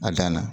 A dan na